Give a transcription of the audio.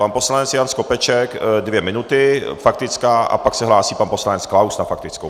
Pan poslanec Jan Skopeček dvě minuty faktická a pak se hlásí pan poslanec Klaus na faktickou.